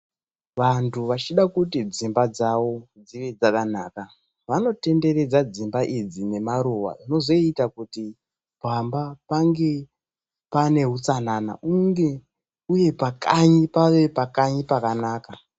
Vantu vachida kuti dzimba dzawo dzive dzakanaka, vanotenderedza dzimba idzi nemaruva, vozoita kuti pamba pange pane utsanana, uye pakanyi pave pakanyi pakanaka.